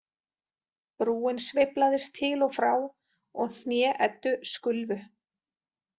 Brúin sveiflaðist til og frá og hné Eddu skulfu.